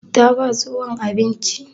Ta ba tsohon abinci?